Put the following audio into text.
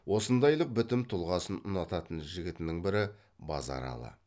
осындайлық бітім тұлғасын ұнататын жігітінің бірі базаралы